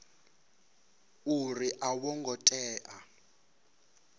uri a vho ngo tea